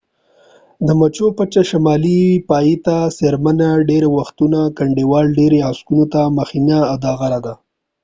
د مچو پچه شمالي پای ته څیرمه ډیری وختونه د کنډوال ډیری عکسونو ته مخینه دا غره ده